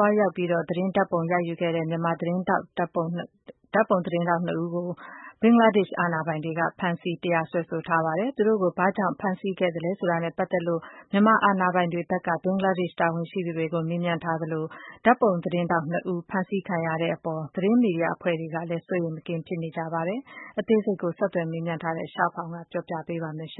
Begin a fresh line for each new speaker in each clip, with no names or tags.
ွားရောက်ပြီးတော့ သတင်းဓာတ်ပုံ ရိုက်ယူခဲ့တဲ့ ဓါတ်ပုံ သတင်းထောက်နှစ်ယောက်ကို ဘင်္ဂလားဒေ့ရှ် အာဏာပိုင်တွေက ဖမ်းဆီး တရားစွဲဆိုလိုက်ပါတယ်။ သူတို့ကို ဘာကြောင့်ဖမ်းဆီးခဲ့သလဲဆိုတာနဲ့ ပတ်သက်လို့ မြန်မာအာဏာပိုင်တွေဘက်က ဘင်္ဂလားဒေ့ရှ်တာဝန်ရှိသူတွေကို မေးမြန်းထားသလို၊ ဓါတ်ပုံသတင်းထောက်နှစ်ဦး ဖမ်းဆီးခံရတဲ့အပေါ် သတင်းမီဒီယာ အဖွဲ့တွေ စိုးရိမ်မကင်းဖြစ်နေကြပါတယ်။ အသေးစိတ်ကို ဆက်သွယ်မေးမြန်းထားတဲ့ ရှားဖောင် က ပြောပြပေးပါမယ်။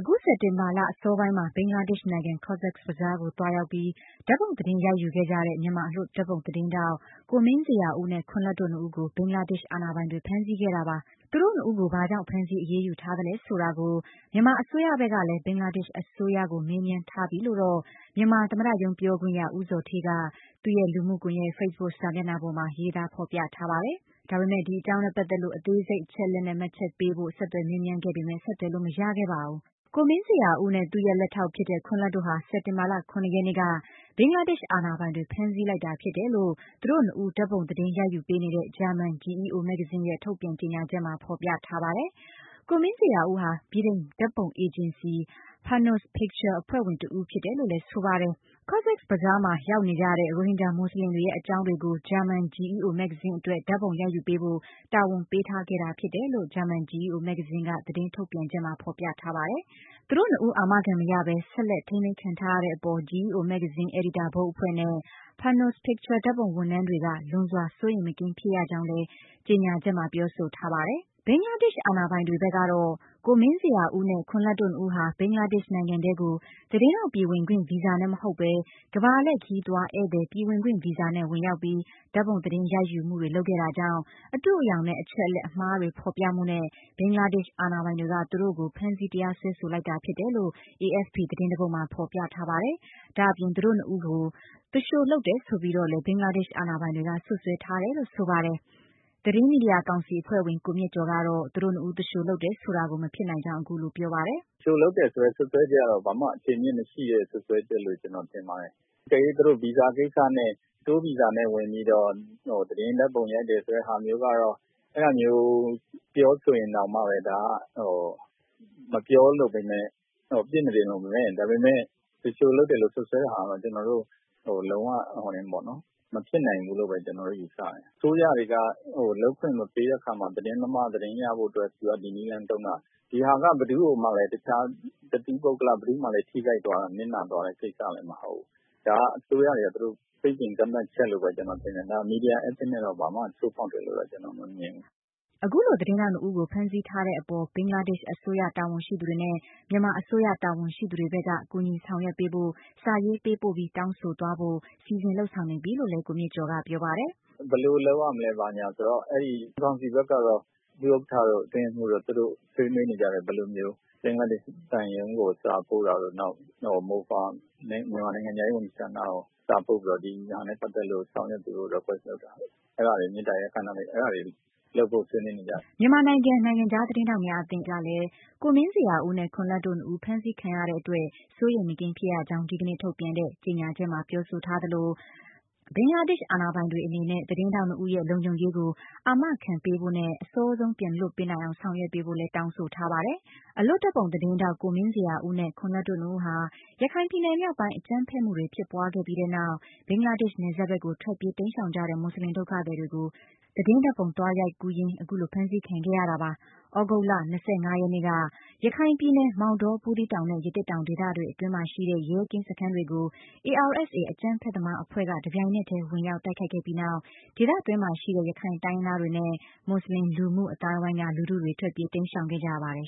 ယခု စက်တင်ဘာလ အစောပိုင်းမှာပဲ ဘင်္ဂလားဒေ့ရှ်နိုင်ငံ Cox’s Bazar ကို သွားရောက်ပြီး ဓာတ်ပုံသတင်းရိုက်ယူခဲ့ကြတဲ့ မြန်မာအလွတ်ဓါတ်ပုံသတင်းထောက် ကိုမင်းဇေယျာဦးနဲ့ ခွန်လတ် တို့နှစ်ဦးကို ဘင်္ဂလားဒေ့ရှ်အာဏာပိုင်တွေ ဖမ်းဆီးခဲ့တာပါ။ သူတို့နှစ်ဦးကို ဘာကြောင့် ဖမ်းဆီး အရေးယူထားသလဲဆိုတာကို မြန်မာအစိုးရ ဘက်ကလည်း ဘင်္ဂလားဒေ့ရှ် အစိုးရကို မေးမြန်းထားပြီးလို့တော့ မြန်မာ သမ္မတရုံးပြောခွင့်ရ ဦးဇော်ဌေးက သူ့ရဲ့ လူမှုကွန်ယက်ဖေ့စ်ဘွတ်စာမျက်နှာပေါ်မှာ ရေးသားဖော်ပြထားပါတယ်။ ဒါပေမယ့် ဒီအကြောင်းနဲ့ပတ်သက်လို့ အသေးစိတ်အချက်အလက်နဲ့ မှတ်ချက်ပေးဖို့ ဆက်သွယ်မေးမြန်းခဲ့ပေမယ့် ဆက်သွယ်လို့မရခဲ့ပါဘူး။ ကိုမင်းဇေယျာဦးနဲ့ သူရဲ့ လက်ထောက်ဖြစ်တဲ့ ခွန်လတ်တို့ ဟာ စက်တင်ဘာလ ၇ ရက်နေ့က ဘင်္ဂလားဒေ့ရှ် အာဏာပိုင်တွေ ဖမ်းဆီးလိုက်တာဖြစ်တယ်လို့ သူတို့နှစ်ဦး ဓါတ်ပုံသတင်းရိုက်ယူပေးနေတဲ့ ဂျာမန် GEO မဂ္ဂဇင်း ရဲ့ ထုတ်ပြန်ကြေညာချက်မှာ ဖော်ပြထားပါတယ်။ ကိုမင်းဇေယျာဦးဟာ ဗြိတိန်ဓါတ်ပုံအေဂျင်စီ Panos Pictures အဖွဲ့ဝင်တဦးဖြစ်တယ်လို့လည်း ဆိုပါတယ်။ Cox’s Bazar မှာ ရောက်နေကြတဲ့ရိုဟင်ဂျာ မူဆလင်တွေရဲ့ အကြောင်းတွေကို ဂျာမန် GEO မဂ္ဂဇင်းအတွက် ဓါတ်ပုံရိုက်ယူပေးဖို့ တာဝန်ပေးထားခဲ့တာဖြစ်တယ်လို့ ဂျာမန် GEO မဂ္ဂဇင်း က သတင်းထုတ်ပြန်ချက်မှာ ဖော်ပြထားပါတယ်။ သူတို့နှစ်ဦး အာမခံမရပဲ ဆက်လက်ထိန်းသိမ်းခံရတဲ့အပေါ် GEO မဂ္ဂဇင်း အယ်ဒီတာ ဘုတ်အဖွဲ့နဲ့ Panos Pictures ဓါတ်ပုံဝန်ထမ်းတွေက လွန်စွာ စိုးရိမ်မကင်းဖြစ်ရကြောင်းလည်း ကြေညာချက်မှာပြောဆိုထားပါတယ်။ ဘင်္ဂလားဒေ့ရှ်အာဏာပိုင်တွေဘက်ကတော့ ကိုမင်းဇေယျာဦးနဲ့ ခွန်လတ်တို့နှစ်ဦးဟာ ဘင်္ဂလားဒေ့ရှ်နိုင်ငံထဲကို သတင်းထောက် ပြည်ဝင်ခွင့်ဗီဇာနဲ့မဟုတ်ပဲ ကမ္ဘာလှည့် ခရီးသွားဧည့်သည် ပြည်ဝင်ခွင့်ဗီဇာနဲ့ ဝင်ရောက်ပြီး ဓာတ်ပုံ သတင်းရိုက်ယူမှုတွေ လုပ်ခဲ့တာကြောင့် အတုအယောင်နဲ့ အချက်အလက်အမှားတွေ ဖော်ပြမှုနဲ့ ဘင်္ဂလားဒေ့ရှ်အာဏာပိုင်တွေက သူတို့ကိုဖမ်းဆီး တရားစွဲဆို လိုက်တာဖြစ်တယ်လို့ AFP သတင်းတပုဒ်မှာ ဖော်ပြထားပါတယ်။ ဒါ့အပြင် သူတို့နှစ်ယောက်ကို သူလျှိုလုပ်တယ် ဆိုပြီးတော့လည်း ဘင်္ဂလားဒေ့ရှ်အာဏာပိုင်တွေက စွပ်စွဲထားတယ်လို့ ဆိုပါတယ်။ သတင်းမီဒီယာကောင်စီအဖွဲ့ဝင် ကိုမြင့်ကျော်ကတော့ သူတို့ နှစ်ဦး သူလျှိုလုပ်တယ် ဆိုတာ မဖြစ်နိုင်ကြောင်း ပြောပါတယ်။
" သူလျှိုလုပ်တယ် ဆိုတဲ့စွပ်စွဲချက်ကတော့ ဘာမှအခြေအမြစ်မရှိတဲ့စွပ်စွဲချက်လို့ ကျနော်ထင်ပါတယ်။ အကယ်လို့ သူတို့က Tour ဗီဇာနဲ့ ဝင်ပြီးတော့ သတင်းဓာတ်ပုံ ရိုက်တယ်ဆိုတဲ့ဟာမျိုးကတော့ ပြောမယ်ဆိုရင်တော့ ဒါမျိုးက အပြစ်မတင်လိုပေမဲ့ သူလျှိုလုပ်တယ်ဆိုတဲ့ စွပ်စွဲချက်ကတော့ လုံးဝ မဖြစ်နိုင်ဘူးလို့ပဲ ကျနော်တော့ယူဆတယ်။ အစိုးရတွေက လုပ်ခွင့်မပေးတဲ့အခါမှာ သတင်းသမားတွေက သတင်းရဖို့အတွက် ဒီနည်းလမ်းသုံးတာ ဒီဟာက ဘယ်သူ့ကိုမှလည်း တခြားတသီးပုဂ္ဂလ ထိခိုက်နစ်နာသွားတဲ့ကိစ္စလည်း မဟုတ်ဘူး ဒါကို အစိုးရတွေချင်း သတ်မှတ်ချက်လို့ပဲ ထင်တယ် မီဒီယာကျင့်ဝတ်ကို ဘာမှချိုးဖောက်တယ်လို့တော့ ကျနော်မမြင်ဘူး။ "
အခုလို သတင်းထောက်နှစ်ယောက်ကို ဖမ်းဆီးတဲ့အပေါ် ဘင်္ဂလားဒေ့ရှ်အစိုးရ တာဝန်ရှိသူတွေနဲ့ မြန်မာအစိုးရတာဝန်ရှိသူဘက်က ကူညီဆောင်ရွက်ပေးဖို့ စာရေးပေးပို့ပြီး တောင်းဆိုသွားဖို့ စီစဉ်လုပ်ဆောင်နေပြီလို့လည်း ကိုမြင့်ကျော်က ပြောပါတယ်
။ " ဘယ်လိုလုပ်ကြမလဲဆိုတာကို ကောင်စီဘက်ကတော့ ဒုဥက္ကဋ္ဌတို့ အတွင်းရေးမှူးတို့ ဆွေးနွေးနေကြတယ် ဘယ်လိုမျိုး ဘင်္ဂလားဒေ့ရှ်သံရုံးကိုစာပို့တာတို့ နောက် MOFA မြန်မာနိုင်ငံခြားရေးဝန်ကြီးဌာနကို စာပို့ပြီး ဒါနဲ့ပတ်သက်ပြီး ဆောင်ရွက်ပေးဖို့ တောင်းဆိုတာတို့ မေတ္တာရပ်ခံတာတွေ လုပ်ဖို့ အဲ့တာတွေ ဆွေးနွေးနေကြတယ်
။" မြန်မာနိုင်ငံနိုင်ငံခြားသတင်းထောက်များအသင်း ကလည်း ကိုမင်းဇေယျာဦးနဲ့ ခွန်လတ် တို့နှစ်ဦးဖမ်းဆီးခံရတဲ့အတွက် စိုးရိမ်မကင်းဖြစ်ရကြောင်း ဒီကနေ့ ထုတ်ပြန်တဲ့ ကြေညာချက်မှာပြောဆိုထားသလို ဘင်္ဂလားဒေ့ရှ်အာဏာပိုင်တွေအနေနဲ့ သတင်းထောက်နှစ်ယောက်ရဲ့ လုံခြုံရေးကို အာမခံပေးဖို့နဲ့ အစောဆုံးပြန်လွှတ်ပေးနိုင်အောင် ဆောင်ရွက်ပေးဖို့လည်း တောင်းဆိုထားပါတယ်။ အလွတ်ဓာတ်ပုံသတင်းထောက် ကိုမင်းဇေယျာဦးနဲ့ ခွန်လတ်တို့နှစ်ဦးဟာ ရခိုင်ပြည်နယ်မြောက်ပိုင်း အကြမ်းဖက်မှုတွေ ဖြစ်ပွားခဲ့ပြီးနောက် ဘင်္ဂလားဒေ့ရှ် နယ်စပ်ဘက်ကို ထွက်ပြေးတိမ်းရှောင်ခဲ့ကြတဲ့ မူဆလင် ဒုက္ခသည်တွေကို သတင်းဓာတ်ပုံ သွားရောက်ရိုက်ယူရင်း အခုလို ဖမ်းဆီးခံခဲ့ရတာပါ။ သြဂုတ်လ ၂၅ နေ့က ရခိုင်ပြည်နယ် မောင်တော၊ ဗူးသီးတောင်နဲ့ ရသေ့တောင် ဒေသအတွင်းမှာရှိတဲ့ ရဲကင်းစခန်းတွေကို ARSA အကြမ်းဖက်သမား အဖွဲ့က တပြိုင်နက်တည်း ဝင်ရောက်တိုက်ခဲ့ပြီးနောက် ဒေသတွင်းမှာရှိတဲ့ ရခိုင်တိုင်းရင်းသားတွေနဲ့ မူဆလင် လူမှုအသိုင်းအဝိုင်းက လူထုတွေ ထွက်ပြေး တိမ်းရှောင်ခဲ့ရပါတယ်